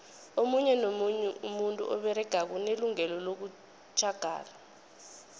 omunye nomunye umuntu oberegako unelungelo lokutjhagala